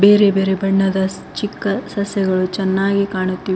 ಬೇರೆ ಬೇರೆ ಬಣ್ಣದ ಚಿಕ್ಕ ಸಸಿಗಳು ಚೆನ್ನಾಗಿ ಕಾಣುತ್ತಿವೆ.